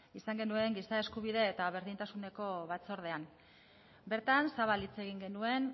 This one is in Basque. izan genuen giza eskubide eta berdintasuneko batzordean bertan zabal hitz egin genuen